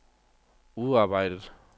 udarbejdet